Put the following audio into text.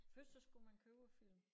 Først så skulle man købe æ film